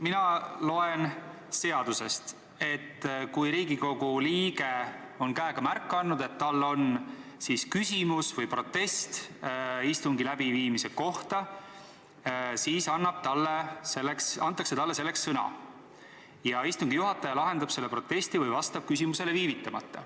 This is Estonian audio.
Mina loen seadusest, et kui Riigikogu liige on käega märku andnud, et tal on küsimus või protest istungi läbiviimise kohta, siis antakse talle sõna, ja istungi juhataja lahendab selle protesti või vastab küsimusele viivitamata.